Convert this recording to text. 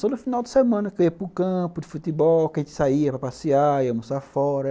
Só no final de semana que eu ia para o campo de futebol, que a gente saía para passear e almoçar fora.